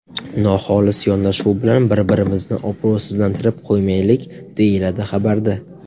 Noxolis yondashuv bilan bir-birimizni obro‘sizlantirib qo‘ymaylik”, deyiladi xabarda.